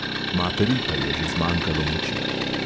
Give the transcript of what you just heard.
Materi pa je že zmanjkalo moči.